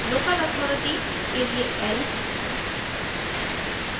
local authority के लिये l